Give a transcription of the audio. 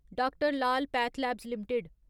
D R Lal PathLabs limited